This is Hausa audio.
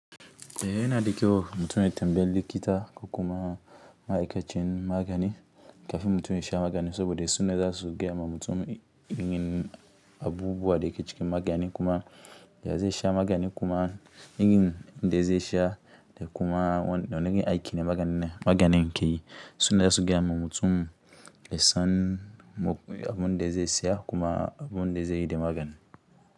Ehh, yana da kyau mutum ya tambayi likita ko kuma ma'aikacin magani kafin mutum ya sha maganin saboda suna zasu gaya ma mutum in abubuwa da ke cikin magani kuma ya zai sha magani kuma in in da zai sha da kuma wan da na nake aiki ne maganin magani nke yi suna zasu gaya ma mutum yasan abun da zai siya kuma abun da zai yi da maganin.